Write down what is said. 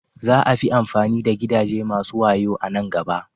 Za a fi amfani da gidaje masu wayo a nan gaba.